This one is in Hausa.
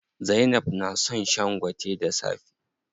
Zainab na son shan gwate da safe.